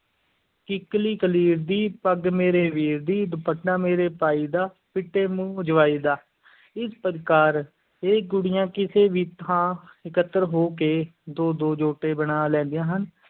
ਕਿੱਕਲੀ ਕਲੀਰ ਦੀ, ਪੱਗ ਮੇਰੇ ਵੀਰ ਦੀ, ਦੁਪੱਟਾ ਮੇਰੇ ਭਾਈ ਦਾ, ਫਿੱਟੇ-ਮੂੰਹ ਜਵਾਈ ਦਾ, ਇਸ ਪ੍ਰਕਾਰ ਇਹ ਕੁੜੀਆਂ ਕਿਸੇ ਵੀ ਥਾਂ ਇਕੱਤਰ ਹੋ ਕੇ, ਦੋ-ਦੋ ਜੋਟੇ ਬਣਾ ਲੈਂਦੀਆਂ ਹਨ।